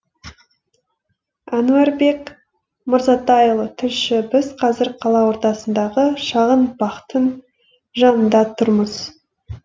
әнуарбек мырзатайұлы тілші біз қазір қала ортасындағы шағын бақтың жанында тұрмыз